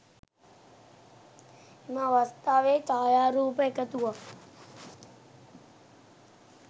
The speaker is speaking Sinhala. එම අවස්ථාවේ ජයාරූප එකතුවක්